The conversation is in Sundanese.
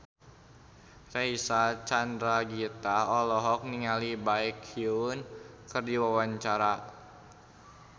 Reysa Chandragitta olohok ningali Baekhyun keur diwawancara